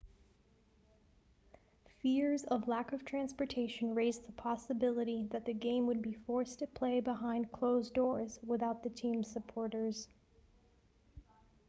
fears of lack of transportation raised the possibility that the game would be forced to play behind closed doors without the team's supporters